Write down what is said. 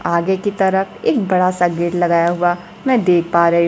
आगे की तरफ एक बड़ा सा गेट लगाया हुआ मैं देख पा रही--